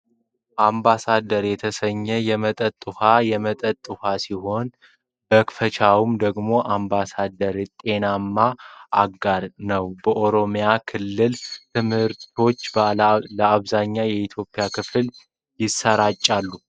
አምባሳደር የተሰኘህ የመጠጥ ውሃ የመጠጥ ዉሃ ሲሆን መፈክራቸው ደግሞ አምባሳደር የጤናዎ አጋር! ነው በኦሮሚያ ክልል ትምህርቶ ለአብዛኛው የኢትዮጵያ ክፍል የሰራጫል ።